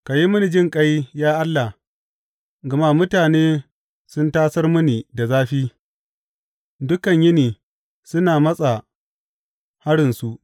Ka yi mini jinƙai, ya Allah, gama mutane sun tasar mini da zafi; dukan yini suna matsa harinsu.